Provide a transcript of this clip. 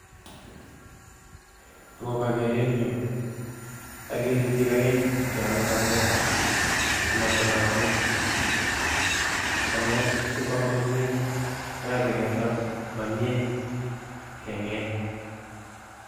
Akobo geeretnyu ageere biik aeng' cheame banyek chematonotiin, banyeek sikwaamak komnyie koyaache keton mamyie keng'eeny